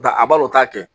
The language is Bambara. Da a balo o t'a kɛ